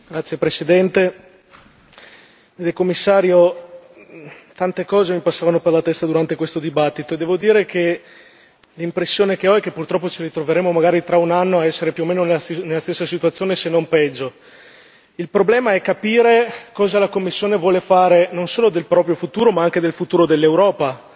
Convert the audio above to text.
Signor Presidente, onorevoli colleghi, signor Commissario, tante cose mi passavano per la testa durante questa discussione e devo dire che l'impressione che ho è che, purtroppo, ci ritroveremo, magari tra un anno, a essere più o meno nella stessa situazione, se non peggio. Il problema è capire cosa la Commissione vuole fare non solo del proprio futuro ma anche del futuro dell'Europa,